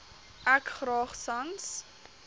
ek graag sans